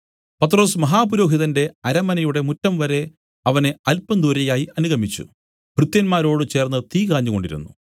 പത്രൊസ് മഹാപുരോഹിതന്റെ അരമനയുടെ മുറ്റംവരെ അവനെ അല്പം ദൂരെയായി അനുഗമിച്ചു ഭൃത്യന്മാരോടു ചേർന്ന് തീ കാഞ്ഞുകൊണ്ടിരുന്നു